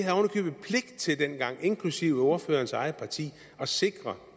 købet pligt til dengang inklusive ordførerens eget parti at sikre